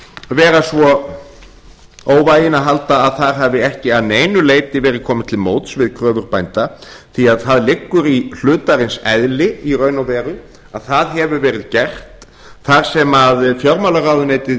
vera svo óvæginn að halda að þar hafi ekki að neinu leyti verið komið til móts við kröfur bænda því það liggur í hlutarins eðli í raun og veru að það hefur verið gert þar sem fjármálaráðuneytið